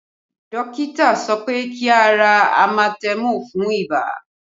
Dókítà sọ pé kí a ra amatẹmù fún ibà